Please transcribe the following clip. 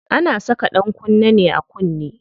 Ana saka ɗankunne ne a kunne.